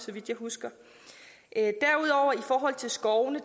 vidt jeg husker i forhold til skovene